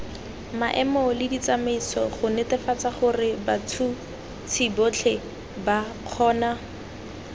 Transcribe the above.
maemoleditsamaiso gonetefatsagorebats huts hisibotlheba kgona